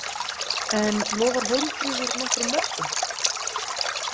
En lofar Hólmfríður nokkrum mörkum?